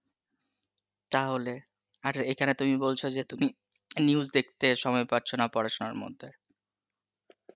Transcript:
তাহলে? আর এখানে তুমি বলছো যে তুমি, news দেখতে সময় পাচ্ছো না পড়াশুনার মধ্যে